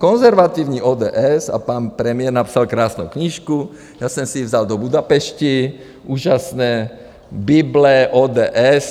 Konzervativní ODS a pan premiér napsal krásnou knížku, já jsem si ji vzal do Budapešti, úžasná bible ODS.